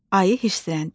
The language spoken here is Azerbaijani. Ayı hirsləndi.